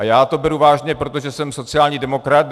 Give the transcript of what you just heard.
A já to beru vážně, protože jsem sociální demokrat.